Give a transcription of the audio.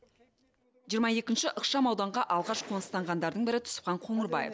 жиырма екінші ықшам ауданға алғаш қоныстанғандардың бірі түсіпхан қоңырбаев